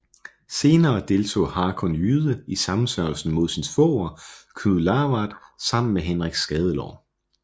Senere deltog Hakon Jyde i sammensværgelsen mod sin svoger Knud Lavard sammen med Henrik Skadelår